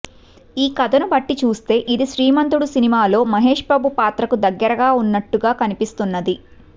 ఈ కథను బట్టి చూస్తే ఇది శ్రీమంతుడు సినిమాలో మహేష్ బాబు పాత్రకు దగ్గరగా ఉన్నట్టుగా కనిపిస్తున్నది